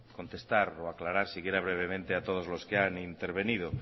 contestar o aclarar siquiera brevemente a todos los que han intervenido